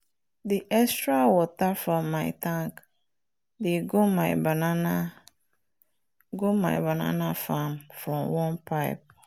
the extra water from my tank dey go my banana go my banana farm from one pipe.